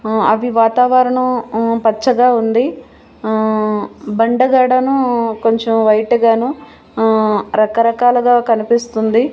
మ్మ్ అవి వాతావరణం మ్మ్ పచ్చగా ఉంది మ్మ్ బండగడను కొంచెం వైట్ గాను మ్మ్ రకరకాలుగా కనిపిస్తుంది.